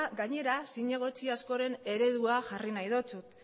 gainera zinegotzi askoren eredua jarri nahi dizut